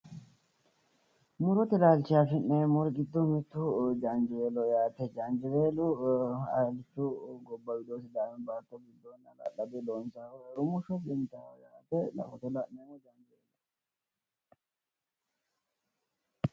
Murote laalchi afine'mmori giddo mittu jaanjiweeloho yaate, jaanjiweelu alichu gobba giddo sidaamu baatto giddo rumushosi intayi laalooti...